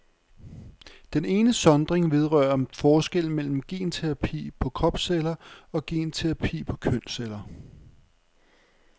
Den ene sondring vedrører forskellen mellem genterapi på kropsceller og genterapi på kønsceller.